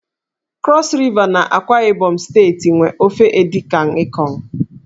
Krọs Riva na AkwaIbom steeti nwe ofe Edikan Ikong.